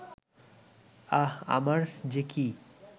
আহ, আমার যে কী